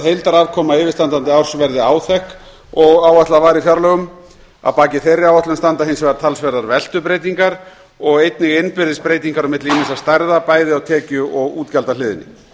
heildarafkoma yfirstandandi árs verði áþekk og áætlað var í fjárlögum að baki þeirri áætlun standa hins vegar talsverðar veltubreytingar og einnig innbyrðis breytingar á milli ýmissa stærða bæði á tekju og útgjaldahliðinni